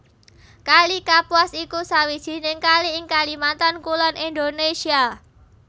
Kali Kapuas iku sawijining kali ing Kalimantan Kulon Indonesia